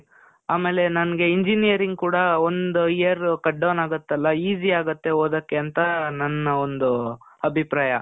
ಆಮೇಲೆ ನನ್ಗೆ ಇಂಜಿನಿಯರಿಂಗ್ ಕೂಡಾ ಒಂದ್ year cutdown ಆಗತ್ತಲ್ಲ? easy ಆಗತ್ತೆ ಓದಕ್ಕೆ ಅಂತಾ ನನ್ನ ಒಂದೂ, ಅಭಿಪ್ರಾಯ.